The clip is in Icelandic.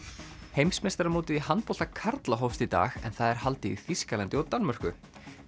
heimsmeistaramótið í handbolta karla hófst í dag en það er haldið í Þýskalandi og Danmörku